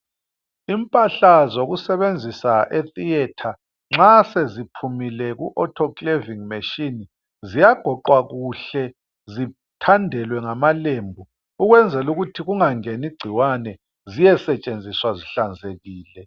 Impahla zokusebenzisa e theatre nxa seziphumile ku autoclevic machine ziyagoqwa kuhle zithandelwe ngamalembu ukwenzela ukuthi kungangeni igcikwane ziyesetshenziswa zihlanzekile.